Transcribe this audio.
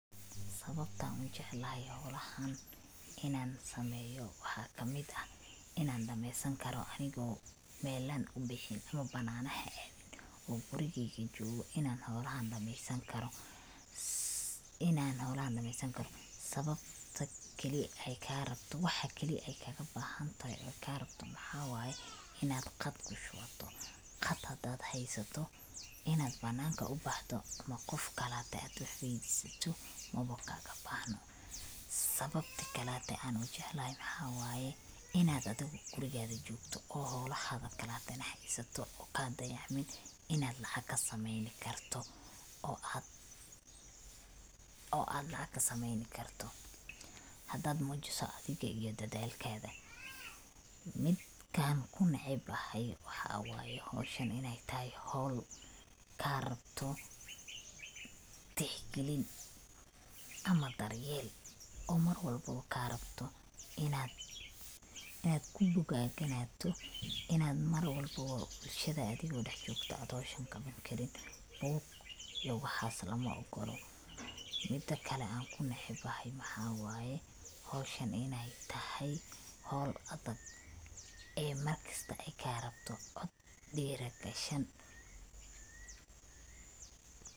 Sababtan ujeclahay howlahan inan sameeyo waxaa kamid ah, inan dhameesan karo aniga melan ubixiin oo bananaha aadin oo gurigeyga jogo inan howlahan dhameesan karo, sababta keli ay kaa rabto, waxa keli ay kaga baxantoho oy kaa rabto maxawaye inad qad kushubato, qad hadad haysato inad bananka ubaxdo ama qof kalate ad wax weydisato mawa kaga bahno, sababta kalate an ujeclahay waxawaye inad adiga oo gurigaaga jogto oo howlahada kalate na haysato oo dayacmim inad lacag kasameeyni karto oo ad lacag kasameeyni karto hadad muujiso adiga iyo dadalkada, midkan kunecebahay waxawayo howshan inay tahay howl kaa rabto tix gelin ama daryel oo mar walbobo kaa rabto inad kubogaganato inad mar walbo bulshadadi dhax jogto ad howshan qawan karin iyo waxaas lama ogolo, midakale anku necebahay maxawaye howshan inay tahay howl adag ee mar kista ayka rabto cod dhiri gashan